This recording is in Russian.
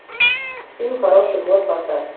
фильм хороший год поставь